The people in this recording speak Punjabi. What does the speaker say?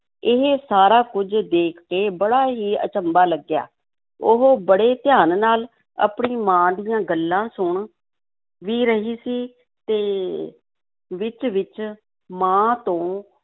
ਇਹ ਸਾਰਾ ਕੁੱਝ ਦੇਖ ਕੇ ਬੜਾ ਹੀ ਅਚੰਭਾ ਲੱਗਿਆ, ਉਹ ਬੜੇ ਧਿਆਨ ਨਾਲ ਆਪਣੀ ਮਾਂ ਦੀਆਂ ਗੱਲਾਂ ਸੁਣ ਵੀ ਰਹੀ ਸੀ ਤੇ ਵਿੱਚ-ਵਿੱਚ ਮਾਂ ਤੋਂ